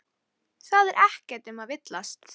Það er ekkert um að villast.